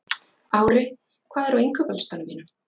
Ári, hvað er á innkaupalistanum mínum?